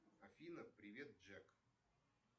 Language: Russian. афина привет джек